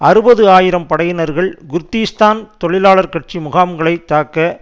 அறுபது ஆயிரம் படையினர்கள் குர்திஷ்தான் தொழிலாளர் கட்சி முகாம்களை தாக்க